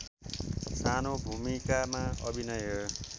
सानो भूमिकामा अभिनय